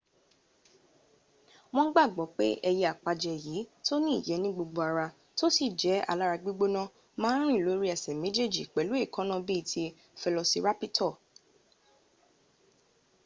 won gbagbo pe eye apaje yi to ni iye nigbogbo ara to si je alara gbigbona ma n ri lori ese mejeje pelu eekana bii ti felosirapito